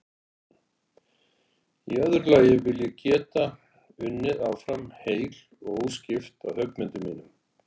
Í öðru lagi vil ég geta unnið áfram heil og óskipt að höggmyndum mínum.